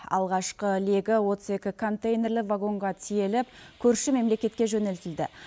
алғашқы легі отыз екі контейнерлі вагонға тиеліп көрші мемлекетке жөнелтілді